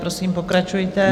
Prosím, pokračujte.